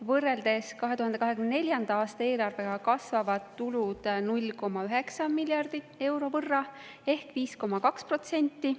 Võrreldes 2024. aasta eelarvega kasvavad tulud 0,9 miljardi euro võrra ehk 5,2%.